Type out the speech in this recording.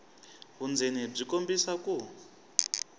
vundzeni byi kombisa ku